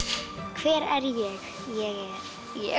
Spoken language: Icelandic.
hver er